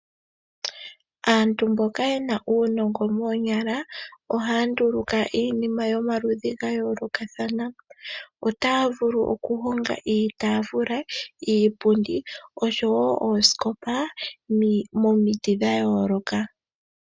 Aantu mboka yena uunongo moonyala ohaya nduluka iinima yomaludhi gayoolokatana, otaya vulu okuhonga iitafula, iipundi nosho wo oosikopa momiti dhayooloka.